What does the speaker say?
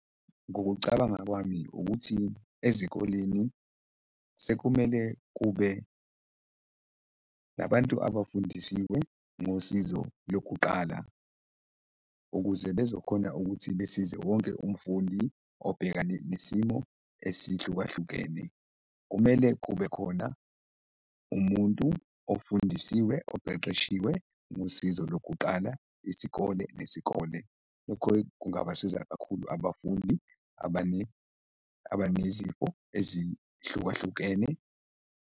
Ngokucabanga kwami ukuthi ezikoleni sekumele kube nabantu abafundisiwe ngosizo lokuqala ukuze bezokhona ukuthi besize wonke umfundi obhekane nesimo esihlukahlukene. Kumele kube khona umuntu ofundisiwe, oqeqeshiwe ngosizo lokuqala isikole nesikole, lokho kungabasiza kakhulu abafundi abanezifo ezihlukahlukene.